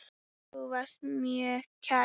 Þú varst mér mjög kær.